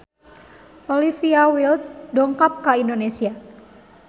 Olivia Wilde dongkap ka Indonesia